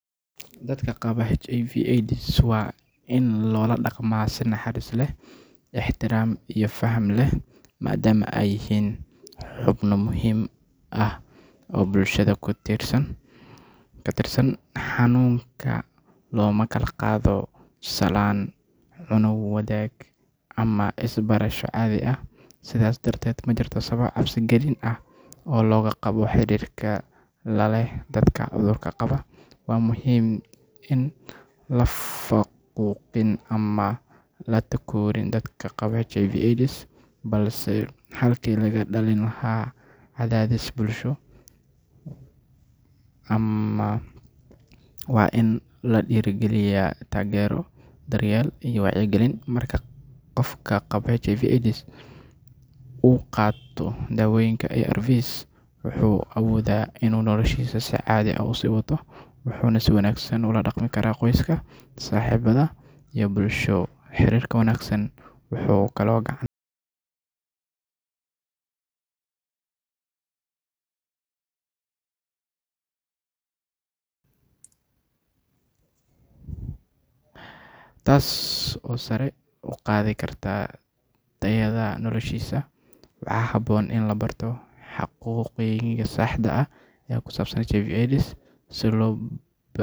Dadka qaba HIV/AIDS waa in loola dhaqmaa si naxariis leh, ixtiraam iyo faham leh, maadaama ay yihiin xubno muhiim ah oo bulshada ka tirsan. Xanuunkan looma kala qaado salaan, cunno wadaag, ama is taabasho caadi ah, sidaas darteed ma jirto sabab cabsi galin ah oo laga qabo xiriirka la leh dadka cudurka qaba. Waa muhiim in aan la faquuqin ama la takoorin dadka qaba HIV/AIDS, balse halkii laga dhalin lahaa cadaadis bulsho, waa in la dhiirrigeliyaa taageero, daryeel, iyo wacyigelin. Marka qof qaba HIV uu qaato daawooyinka ARV, wuxuu awoodaa inuu noloshiisa si caadi ah u sii wato, wuxuuna si wanaagsan ula dhaqmi karaa qoyska, saaxiibbada, iyo bulshada. Xiriirka wanaagsan wuxuu kaloo gacan ka geystaa dhimista cadaadiska maskaxeed ee qofka la nool xanuunka, taas oo sare u qaadi karta tayada noloshiisa. Waxaa habboon in la barto xaqiiqooyinka saxda ah ee ku saabsan HIV/AIDS si loo baabi’iyo.